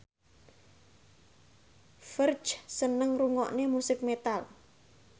Ferdge seneng ngrungokne musik metal